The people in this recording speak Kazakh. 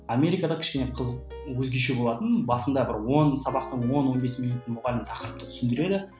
америкада кішкене қызық өзгеше болатыны басында бір он сабақты он он бес минут мұғалім тақырыпты түсіндіреді